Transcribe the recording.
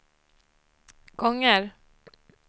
gånger